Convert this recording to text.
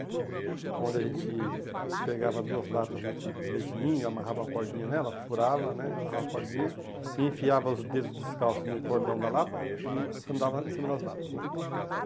Onde a gente pegava duas latas do tipo de leite ninho e amarrava uma cordinha nela, furava né, amarrava uma cordinha e enfiava os dedos descalços no cordão da lata e andava em cima das latas, né?